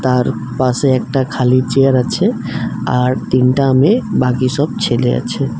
আর পাশে একটা খালি চেয়ার আছে আর তিনটা মেয়ে বাকি সব ছেলে আছে।